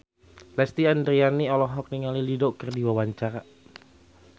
Lesti Andryani olohok ningali Dido keur diwawancara